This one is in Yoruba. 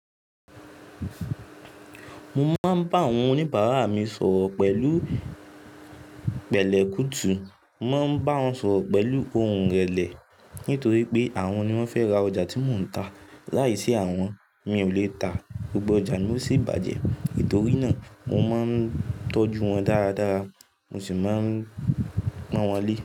Mo máa ń bá àwọn oníbàárà mi sọ̀rọ̀ pẹ̀lú pẹ̀lẹ́ kútù, mo máa ń bá wọn sọ̀rọ̀ pẹ̀lú ohùn ìrẹ̀lẹ̀ nítorí pé àwọn ni wọ́n fẹ́ ra ọjà tí mò ń ta. Láìsí àwọn mi ò lè ta, gbogbo ọjà mi ó sì bàjẹ́. Nítorí náà mo máa ń tọ́jú wọn dáradára, mo sì máa ń pọ́n wọn lé.